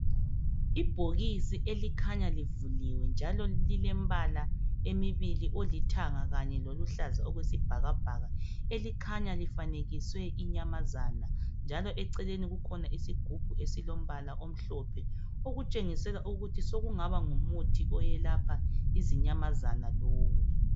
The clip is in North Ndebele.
Ibhokisi elikhanya livuliwe njalo lilembala emibili olithanga kanye loluhlaza okwesibhakabhaka elikhanya lifanekiswe inyamazana njalo eceleni kukhona isigubhu esilombala omhlophe okutshengisela ukuthi sekungaba ngumuthi oyelapha izinyamazana lowo.